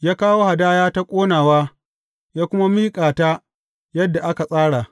Ya kawo hadaya ta ƙonawa ya kuma miƙa ta yadda aka tsara.